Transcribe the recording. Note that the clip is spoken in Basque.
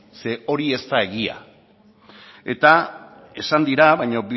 ze hori ez da egia eta esan dira baina